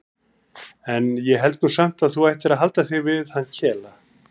En ég held nú samt að þú ættir að halda þig við hann Kela.